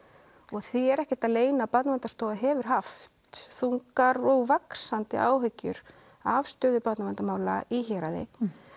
og því er ekkert að leyna að Barnaverndarstofa hefur haft þungar og vaxandi áhyggjur af stöðu barnaverndarmála í héraði